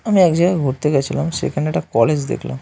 আমি এক জায়গায় ঘুরতে গিয়েছিলাম সেখানে একটা কলেজ দেখলাম।